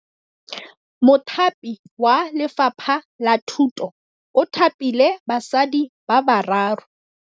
Mothapi wa Lefapha la Thutô o thapile basadi ba ba raro.